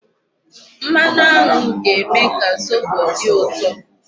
Mmanụ aṅụ ga-eme ka zobo dị ụtọ.